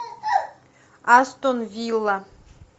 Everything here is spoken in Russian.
астон вилла